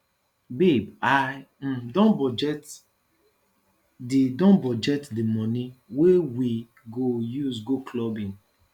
babe i um don budget the don budget the money wey we go use go clubbing